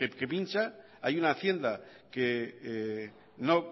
que pincha hay una hacienda que no